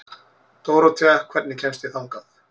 Dórothea, hvernig kemst ég þangað?